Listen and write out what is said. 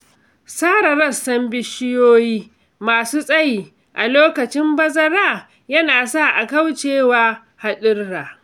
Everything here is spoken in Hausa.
Sare rassan bishiyoyi masu tsayi a lokacin bazara yana sa a kauce wa haɗurra.